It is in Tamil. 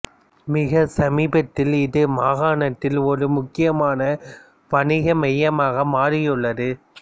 மிக சமீபத்தில் இது மாகாணத்தில் ஒரு முக்கியமான வணிக மையமாக மாறியுள்ளது